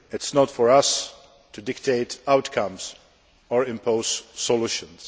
It is not for us to dictate outcomes or impose solutions.